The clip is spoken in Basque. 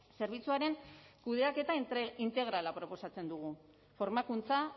zerbitzuaren kudeaketa integrala proposatzen dugu formakuntza